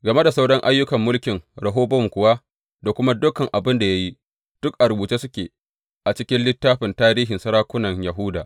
Game da sauran ayyukan mulkin Rehobowam kuwa, da kuma dukan abin da ya yi, duk a rubuce suke a cikin littafin tarihin sarakunan Yahuda.